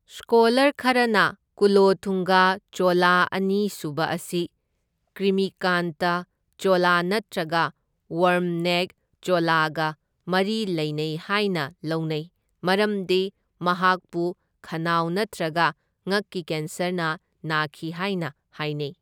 Scholar ꯈꯔꯅ ꯀꯨꯂꯣꯊꯨꯡꯒ ꯆꯣꯂ ꯑꯅꯤ ꯁꯨꯕ ꯑꯁꯤ ꯀ꯭ꯔꯤꯃꯤꯀꯥꯟꯇ ꯆꯣꯂ ꯅꯠꯇ꯭ꯔꯒ ꯋꯥꯔꯝ ꯅꯦꯛ ꯆꯣꯂꯒ ꯃꯔꯤ ꯂꯩꯅꯩ ꯍꯥꯏꯅ ꯂꯧꯅꯩ, ꯃꯔꯝꯗꯤ ꯃꯍꯥꯛꯄꯨ ꯈꯅꯥꯎ ꯅꯠꯇ꯭ꯔꯒ ꯉꯛꯀꯤ ꯀꯦꯟꯁꯔꯅ ꯅꯥꯈꯤ ꯍꯥꯏꯅ ꯍꯥꯏꯅꯩ꯫